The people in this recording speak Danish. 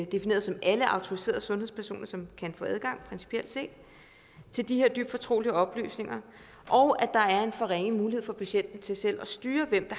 defineret som alle autoriserede sundhedspersoner som kan få adgang principielt set til de her dybt fortrolige oplysninger og at der er en for ringe mulighed for patienten til selv at styre hvem